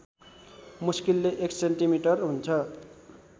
मुस्किलले १ सेमि हुन्छ